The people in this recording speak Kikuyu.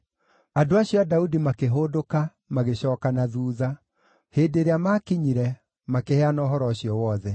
Andũ acio a Daudi makĩhũndũka, magĩcooka na thuutha. Hĩndĩ ĩrĩa maakinyire, makĩheana ũhoro ũcio wothe.